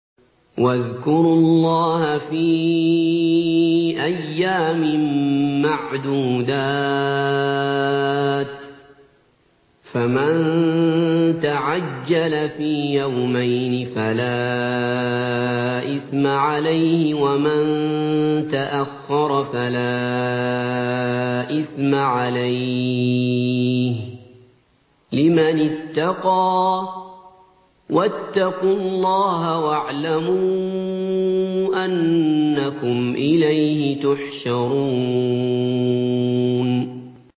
۞ وَاذْكُرُوا اللَّهَ فِي أَيَّامٍ مَّعْدُودَاتٍ ۚ فَمَن تَعَجَّلَ فِي يَوْمَيْنِ فَلَا إِثْمَ عَلَيْهِ وَمَن تَأَخَّرَ فَلَا إِثْمَ عَلَيْهِ ۚ لِمَنِ اتَّقَىٰ ۗ وَاتَّقُوا اللَّهَ وَاعْلَمُوا أَنَّكُمْ إِلَيْهِ تُحْشَرُونَ